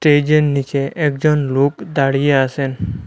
স্টেজের নীচে একজন লোক দাঁড়িয়ে আসেন।